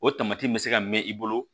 O tamati bɛ se ka mɛn i bolo